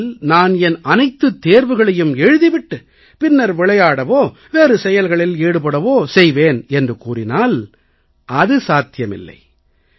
முதலில் நான் என் அனைத்துத் தேர்வுகளையும் எழுதி விட்டுப் பின்னர் விளையாடவோ வேறு செயல்களில் ஈடுபடுவேன் என்று கூறினால் அது சாத்தியமில்லை